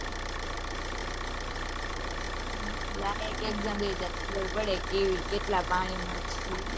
હા એટલે આ એક exam દઇએ ત્યારે ખબર પડે કે કેટલા પાણી માં છીએ.